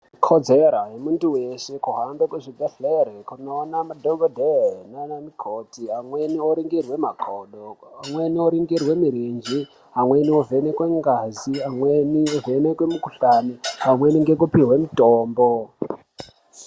Ikodzera yemuntu weshe kuhambe kuchibhehlere kunoona madhogodheye naanamukoti. Amweni oringirwe makodo, amweni oringirwe mirenje, amweni ovhenekwe ngazi, amweni ovhenekwe mukuhlani, pamweni ngekupihwe mitombo.